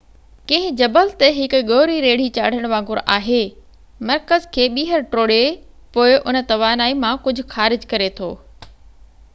ڪنهن جبل تي هڪ ڳوري ريڙهي چاڙهڻ وانگر آهي مرڪز کي ٻيهر ٽوڙي پوءِ ان توانائي مان ڪجهه خارج ڪري ٿو